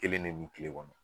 Kelen de bi tile kɔnɔ